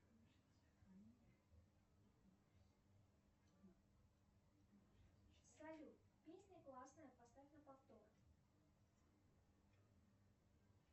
салют песня классная поставь на повтор